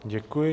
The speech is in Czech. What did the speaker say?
Děkuji.